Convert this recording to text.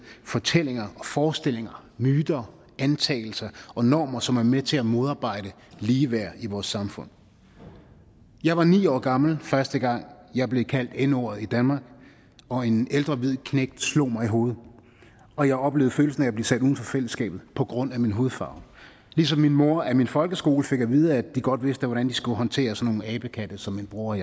fortællinger forestillinger myter antagelser og normer som er med til at modarbejde ligeværd i vores samfund jeg var ni år gammel første gang jeg blev kaldt n ordet og en ældre hvid knægt slog mig i hovedet og jeg oplevede følelsen af at blive sat uden for fællesskabet på grund af min hudfarve ligesom min mor af min folkeskole fik at vide at de godt vidste hvordan de skulle håndtere sådan nogle abekatte som min bror og